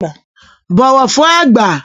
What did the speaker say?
Bọ̀wọ̀ fün àgbà!